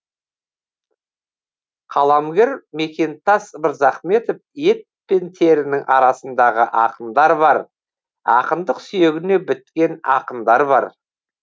қаламгер мекемтас мырзахметов ет пен терінің арасындағы ақындар бар ақындық сүйегіне біткен ақындар бар